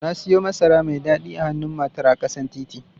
Na siyo masara mai dadi a hannun matar a ƙasan titi.